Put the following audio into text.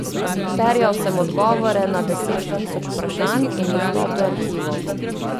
Terjal sem odgovore na deset tisoč vprašanj in dostop do arhivov.